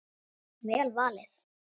Vel valið.